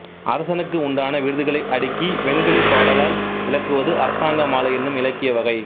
அரசனுக்கு உண்டான விருதுகளை அடுக்கி வெண்கலிப் பாடலால் விளக்குவது அரசாங்க மாலை என்னும் இலக்கிய வகை